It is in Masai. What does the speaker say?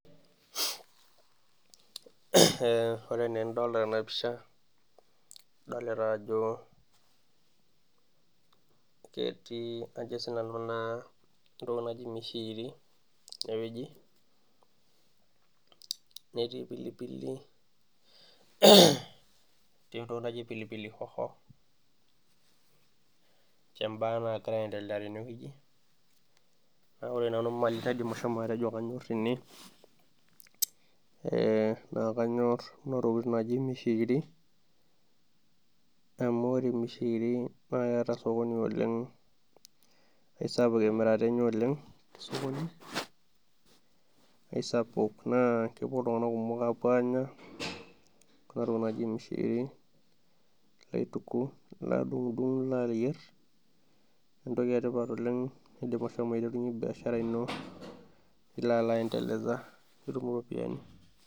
Ore enaa enadolita tena pisha ,adolita ajo ketii naa ajo sii nanu pee ilo ayiolou entoki naji mishikiri, netii pilipili, netii entoki naji pilipili hoho etii mbaa nagira aendelea teneweji ore nanu mali naidim ashomo atejo kanyor tene ,naa kanyor Kuna tokiting naaji mishikiriamu ore mishikiri naa ketaa sakoni oleng, eisapuk emirata enye oleng tesokoni, naa kepuo iltunganak kumok apuo aanya kuna tokiting naaji mishikiri ,kaitiku nadungudung nalo ayier entoki etipat oleng nindim ashomo aiterunyie biashara ino nilo alo atum ropiyiani.